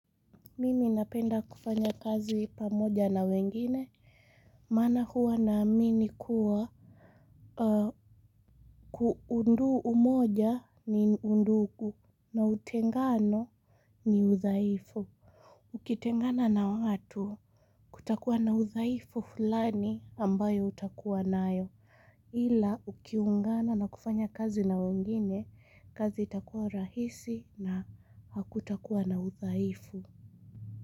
Mimi napenda kufanya kazi pamoja na wengine. Maana huwa naamini kuwa. Ku undu umoja ni undugu. Na utengano ni udhaifu. Ukitengana na watu. Kutakuwa na udhaifu fulani ambayo utakuwa nayo. Ila ukiungana na kufanya kazi na wengine. Kazi itakuwa rahisi na hakutakuwa na udhaifu.